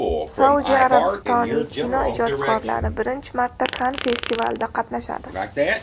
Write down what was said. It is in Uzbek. Saudiya Arabistoni kinoijodkorlari birinchi marta Kann festivalida qatnashadi.